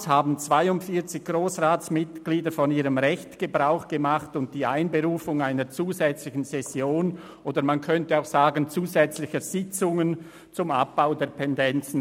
Damals machten 42 Grossratsmitglieder von ihrem Recht Gebrauch und verlangten die Einberufung einer zusätzlichen Session oder – wie man auch sagen könnte – zusätzlicher Sitzungen zum Abbau der Pendenzen.